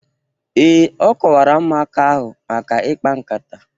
Ee, o kọwara ụmụaka ahụ maka ikpa nkata